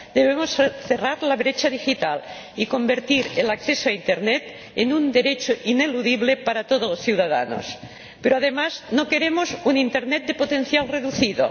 Debemos cerrar la brecha digital y convertir el acceso a Internet en un derecho ineludible para todos los ciudadanos, pero, además, no queremos un Internet de potencial reducido.